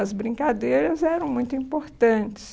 As brincadeiras eram muito importantes.